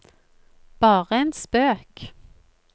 bare en spøk